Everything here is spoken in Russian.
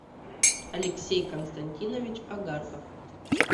алексей константинович огарков